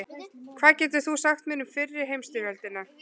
Hvað getur þú sagt mér um fyrri heimsstyrjöldina?